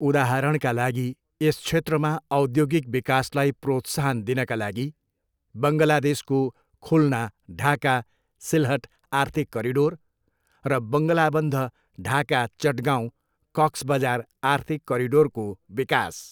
उदाहरणका लागि, यस क्षेत्रमा औद्योगिक विकासलाई प्रोत्साहन दिनका लागि, बङ्गलादेशको खुल्ना, ढाका, सिलहट आर्थिक करिडोर र बङ्गलाबन्ध, ढाका, चटगाँउ, कक्स बजार आर्थिक करिडोरको विकास।